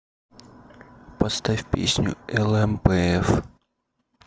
поставь песню л м п ф